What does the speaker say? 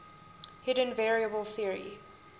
hidden variable theory